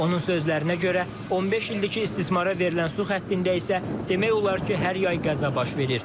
Onun sözlərinə görə, 15 ildir ki, istismara verilən su xəttində isə demək olar ki, hər yay qəza baş verir.